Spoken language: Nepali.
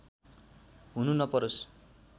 हुनु नपरोस्